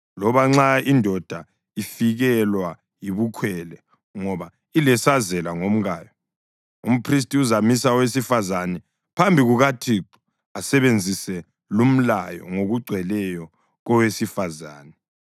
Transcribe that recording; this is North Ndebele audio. loba nxa indoda ifikelwa yibukhwele ngoba ilesazela ngomkayo. Umphristi uzamisa owesifazane phambi kukaThixo asebenzise lumlayo ngokugcweleyo kowesifazane.